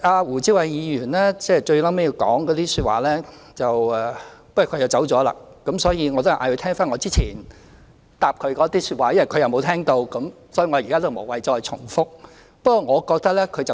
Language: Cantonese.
胡志偉議員最後的發言......不過他離席了，所以我還是請他翻聽我之前回答他的說話，因為他沒有聽到，我現在無謂重複。